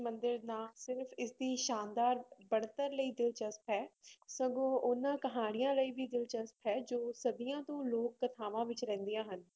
ਮੰਦਿਰ ਨਾਂ ਸਿਰਫ਼ ਇਸਦੀ ਸ਼ਾਨਦਾਰ ਬਣਤਰ ਲਈ ਦਿਲਚਸਪ ਹੈ ਸਗੋਂ ਉਹਨਾਂ ਕਹਾਣੀਆਂ ਲਈ ਵੀ ਦਿਲਚਸਪ ਹੈ ਜੋ ਸਦੀਆਂ ਤੋਂ ਲੋਕ ਕਥਾਵਾਂ ਵਿੱਚ ਰਹਿੰਦੀਆਂ ਹਨ